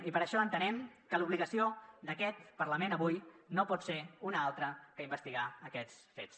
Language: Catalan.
i per això entenem que l’obligació d’aquest parlament avui no pot ser una altra que investigar aquests fets